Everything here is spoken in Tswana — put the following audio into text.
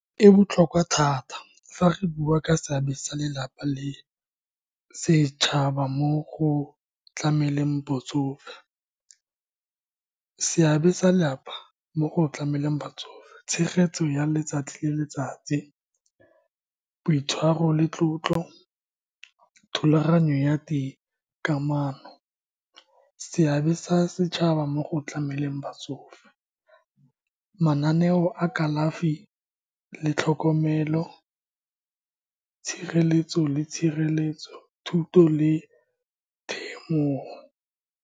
E botlhokwa thata fa re bua ka seabe sa lelapa le setšhaba mo go tlameleng botsofe. Seabe sa lelapa mo go tlameleng batsofe, tshegetso ya letsatsi le letsatsi, boitshwaro le tlotlo, thulaganyo ya di kamano. Seabe sa setšhaba mo go tlameleng batsofe, mananeo a kalafi le tlhokomelo, tshireletso le tshireletso, thuto le temogo.